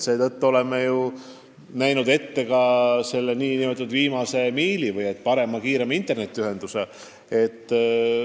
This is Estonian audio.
Seetõttu oleme ette näinud tagada ka nn viimasel miilil parem, kiirem internetiühendus.